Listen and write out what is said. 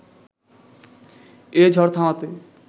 এ ঝড় থামাতে